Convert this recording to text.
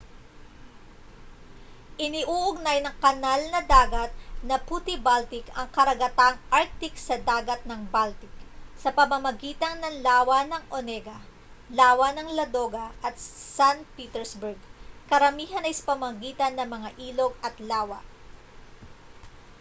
iniuugnay ng kanal na dagat na puti-baltic ang karagatang arctic sa dagat na baltic sa pamamagitan ng lawa ng onega lawa ng ladoga at san petersburg karamihan ay sa pamamagitan ng mga ilog at lawa